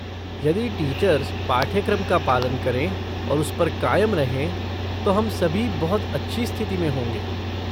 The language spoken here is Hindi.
यदि टीचर्स पाठ्यक्रम का पालन करें और उस पर कायम रहें तो हम सभी बहुत अच्छी स्थिति में होंगे।